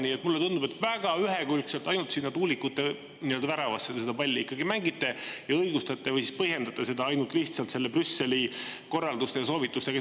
Nii et mulle tundub, et väga ühekülgselt ainult sinna tuulikute väravasse te seda palli mängite ja õigustate või siis põhjendate seda ainult lihtsalt selle Brüsseli korraldustega, soovitustega.